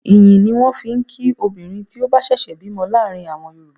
Ìyìn ni wọ́n fi ń kí obìnrin tí ó bá ṣẹ̀ṣẹ̀ bímọ láàrin àwọn Yorùbá.